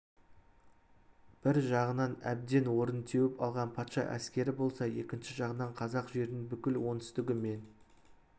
бір жағынан әбден орын теуіп алған патша әскері болса екінші жағынан қазақ жерінің бүкіл оңтүстігі мен